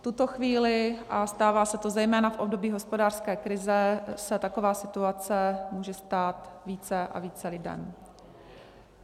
V tuto chvíli, a stává se to zejména v období hospodářské krize, se taková situace může stát více a více lidem.